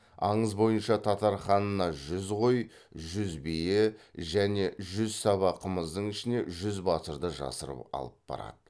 аңыз бойынша татар ханына жүз қой жүз бие және жүз саба қымыздың ішіне жүз батырды жасырып алып барады